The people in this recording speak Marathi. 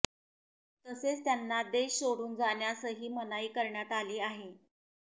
तसेच त्यांना देश सोडून जाण्यासही मनाई करण्यात आली आहे